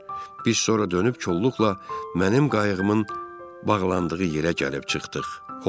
Biz sonra dönüb kolluqla mənim qayığımın bağlandığı yerə gəlib çıxdıq.